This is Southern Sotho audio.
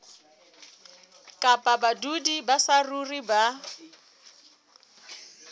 kapa badudi ba saruri ba